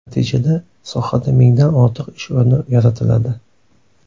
Natijada sohada mingdan ortiq ish o‘rni yaratiladi.